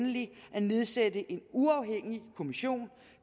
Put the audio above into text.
at nedsætte en uafhængig kommission